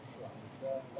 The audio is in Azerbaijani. Alo.